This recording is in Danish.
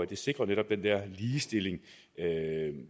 det sikrer netop den her ligestilling